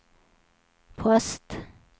post